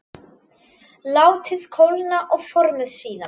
Látið kólna og formið síðan.